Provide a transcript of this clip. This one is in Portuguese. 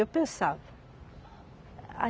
Eu pensava.